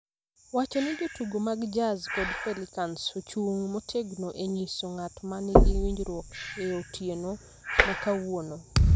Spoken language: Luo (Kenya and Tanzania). wacho ni jotugo mag Jazz kod Pelicans ochung� motegno e nyiso ng�at ma nigi winjruok e otieno ma kawuono.